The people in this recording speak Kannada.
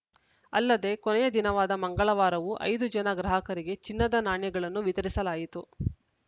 ಅಲ್ಲದೆ ಕೊನೆಯ ದಿನವಾದ ಮಂಗಳವಾರವೂ ಐದು ಜನ ಗ್ರಾಹಕರಿಗೆ ಚಿನ್ನದ ನಾಣ್ಯಗಳನ್ನು ವಿತರಿಸಲಾಯಿತು